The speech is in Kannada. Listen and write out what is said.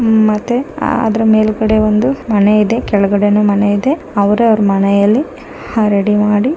ಮತ್ತೆ ಅದರ ಮೇಲ್ಗಡೆ ಒಂದು ಮನೆ ಇದೆ ಕೆಳಗಡೆ ನು ಮನೆ ಇದೆ ಅವರು ಅವರ ಮನೆಯಲ್ಲಿ ಹರಡಿ ಮಾಡಿ --